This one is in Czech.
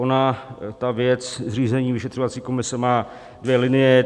Ona ta věc zřízení vyšetřovací komise má dvě linie.